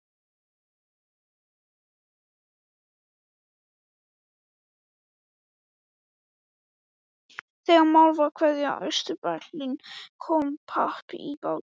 Þegar mál var að kveðja Austur-Berlín kom babb í bátinn.